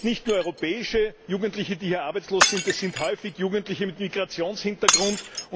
Es sind nicht nur europäische Jugendliche, die hier arbeitslos sind, es sind häufig Jugendliche mit Migrationshintergrund.